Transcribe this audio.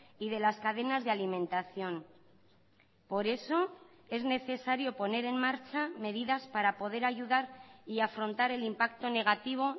y de las cadenas de alimentación por eso es necesario poner en marcha medidas para poder ayudar y afrontar el impacto negativo